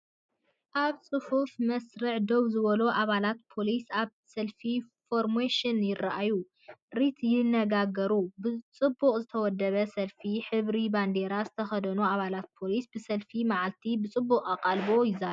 ኣብ ጽፉፍ መስርዕ ደው ዝበሉ ኣባላት ፖሊስ ኣብ ሰልፊ ፎርመሽን ይረኣዩ። ረት ይነጋገራሉ። ብጽቡቕ ዝተወደበ ሰልፊ፤ ሕብሪ ባንዴራ ዝተኸድኑ ኣባላት ፖሊስ ብሰፊሕ መዓልቲ ብጽዑቕ ኣቓልቦ ይዛረቡ።